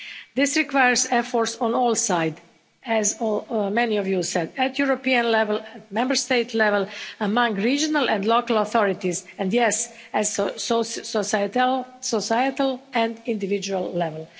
This requires efforts on all sides, as many of you said at European level, at Member State level, among regional and local authorities, and, yes, at a societal and individual level.